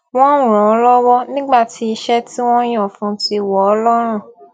wón ràn án lówó nígbà tí iṣé tí wón yàn fún un ti n wọ ọ lọrùn